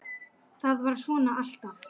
ÞAÐ VARÐ SVONA ALLTAF